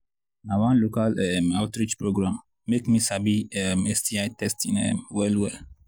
na one local outreach um program make me sabi sti um testing um well well